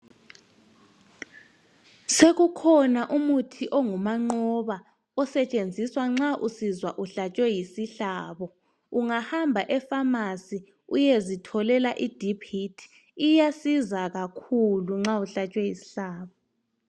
Sekukhona umuthi ongumanqoba osetshenziswa nxa usizwa uhlatshwe yisihlabo. Ungahamba efamasi uyezitholela idiphu hithi, iyasiza kakhulu nxa uhlatshwe yishlabo.